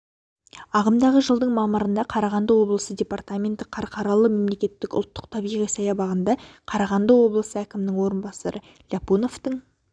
ағымдағы жылдың мамырында қарағанды облысы департаменті қарқаралы мемлекеттік ұлттық табиғи саябағында қарағанды облысы әкімінің орынбасары ляпуновтың